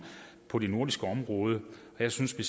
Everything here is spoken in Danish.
på det nordiske område jeg synes at